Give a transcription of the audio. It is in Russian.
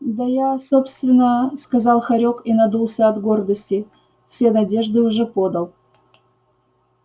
да я собственно сказал хорёк и надулся от гордости все надежды уже подал